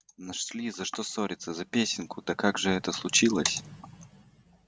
нашли за что ссориться за песенку да как же это случилось